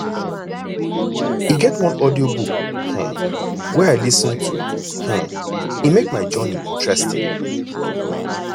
e get one audiobook um wey i lis ten to um e make my journey interesting